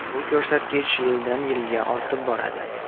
Bu ko‘rsatkich yildan-yilga ortib boradi.